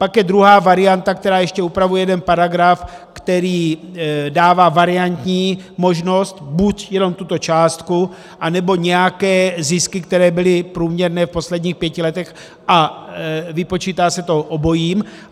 Pak je druhá varianta, která ještě upravuje jeden paragraf, který dává variantní možnost buď jenom tuto částku, anebo nějaké zisky, které byly průměrné v posledních pěti letech, a vypočítá se to obojím.